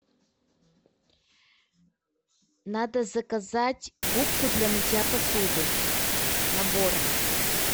надо заказать губку для мытья посуды набором